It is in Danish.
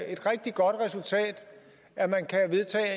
et rigtig godt resultat at man kan vedtage